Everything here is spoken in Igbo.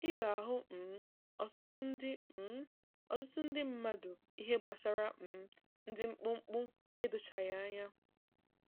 Ị ga-ahụ um ọtụtụ ndị um ọtụtụ ndị mmadụ ihe gbasara um ndị mkpụmkpụ edochaghị anya.